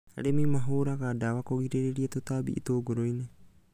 Arĩmi mahũraga ndawa kũgirĩrĩria tũtambi itũngũrũ-inĩ